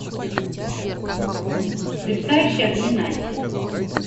мерцающие огни найти